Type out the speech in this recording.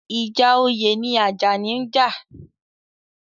Ìjà oyè ni Àjàní ń jà.